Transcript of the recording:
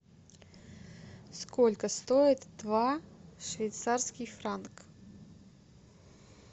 сколько стоит два швейцарских франка